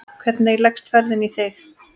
Hvernig leggst ferðin í þig?